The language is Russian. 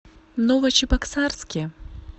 новочебоксарске